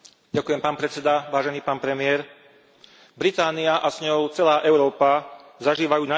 Británia a s ňou celá Európa zažívajú najdôležitejšie dni od ukončenia druhej svetovej vojny.